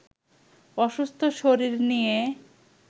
অসুস্থ শরীর নিয়ে